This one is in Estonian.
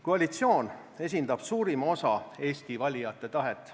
Koalitsioon esindab suurima osa Eesti valijate tahet.